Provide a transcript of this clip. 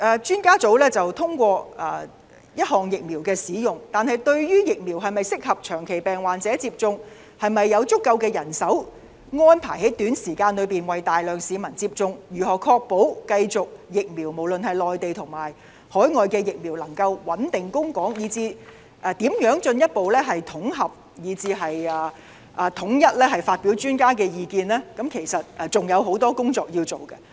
專家組昨天通過一項疫苗使用，但對於疫苗是否適合長期病患者接種、是否有足夠人手安排在短時間內為大量市民接種，如何確保無論是內地或海外疫苗都能繼續穩定供港，以至如何進一步統合和統一發表專家意見，都有很多工作需要處理。